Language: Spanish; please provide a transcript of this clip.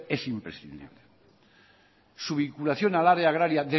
es imprescindible su vinculación al área agraria